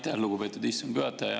Aitäh, lugupeetud istungi juhataja!